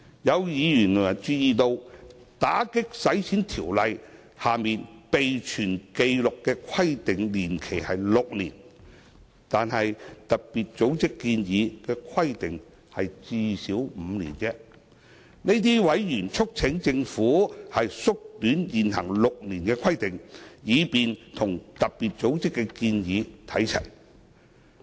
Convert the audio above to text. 有委員注意到，《條例》下備存紀錄的規定年期為6年，但特別組織建議的規定只是最少5年而已，這些委員促請政府縮短現行6年的規定，以便與特別組織的建議看齊。